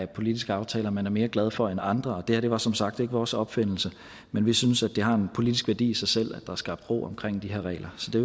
politiske aftaler man er mere glad for end andre og det her var som sagt ikke vores opfindelse men vi synes det har en politisk værdi i sig selv at er skabt ro omkring de her regler så det